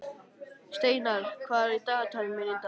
Steinar, hvað er á dagatalinu mínu í dag?